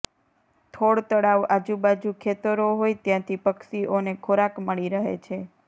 થોળ તળાવ આજુબાજુ ખેતરો હોઇ ત્યાંથી પક્ષીઓને ખોરાક મળી રહે છે